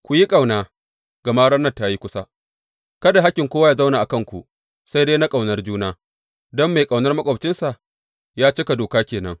Ku yi ƙauna, gama ranar ta yi kusa Kada hakkin kowa yă zauna a kanku, sai dai na ƙaunar juna, don mai ƙaunar maƙwabcinsa ya cika Doka ke nan.